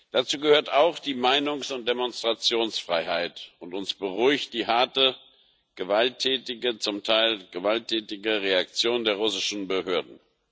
Dazu gehört auch die Meinungs und Demonstrationsfreiheit, und uns beunruhigt die harte, zum Teil gewalttätige Reaktion der iranischen Behörden.